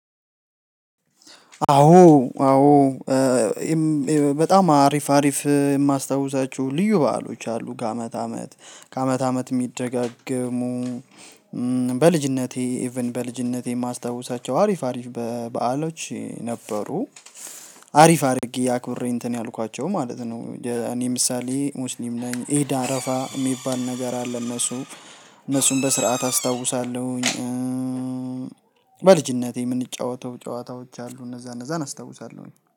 አዎ አዎ። በጣም አሪፍ አሪፍ የማስታውሳችሁ ልዩ በዓሎች አሉ ከአመት አመት ከአመት አመት የሚደጋገሙ። በልጅነቴ ኢቭን በልጅነቴ የማስታውሳቸው አሪፍ አሪፍ በዓሎች ነበሩ። አሪፍ አድርጌ አክብሬ እንትን ያልኳቸው ማለት ነው። እኔ ምሳሌ ሙስሊም ነኝ ኢዳል አረፋ የሚባል ነገር አለ። እነሱ እነሱን በስርዓት አስታውሳለሁኝ። በልጅነቴ የምንጫወተው ጨዋታዎች አሉ እነዛ እነዛን አስታውሳለሁኝ